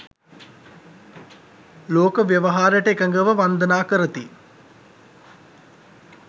ලෝක ව්‍යවහාරයට එකඟව වන්දනා කරති.